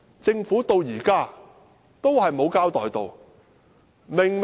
政府直到現在也沒有交代。